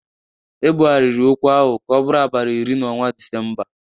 Ebụgharịrị okwu ahụ ka ọ bụrụ abalị iri n'ọnwa Disemba